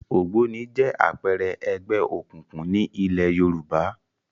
Ògbóni jẹ́ àpẹẹrẹ ẹgbẹ́ òkùnkùn ní ilẹ̀ Yorùbá